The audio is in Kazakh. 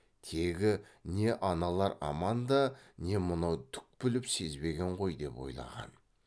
тегі не аналар аман да не мынау түк біліп сезбеген ғой деп ойлаған